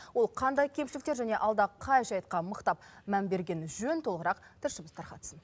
ол қандай кемшіліктер және алда қай жайтқа мықтап мән берген жөн толығырақ тілшіміз тарқатсын